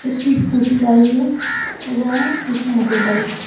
একটি স্কুটি লারিয়ে এবং কিছু মোটর বাইক ।